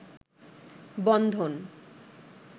বন্ধন